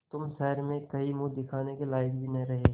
तुम शहर में कहीं मुँह दिखाने के लायक भी न रहे